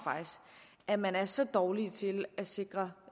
at man er så dårlige til at sikre